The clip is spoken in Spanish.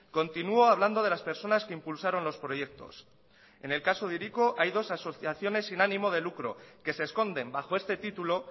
continúo hablando de las personas que impulsaron los proyectos en el caso de hiriko hay dos asociaciones sin ánimo de lucro que se esconden bajo este título